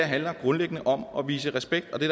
handler grundlæggende om at vise respekt og det